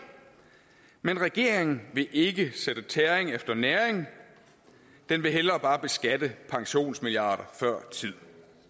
men regeringen vil ikke sætte tæring efter næring den vil hellere bare beskatte pensionsmilliarder før tid